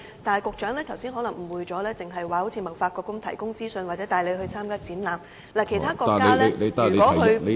但是，局長剛才可能誤會了，只提到貿發局提供資訊或帶領中小企舉辦展覽。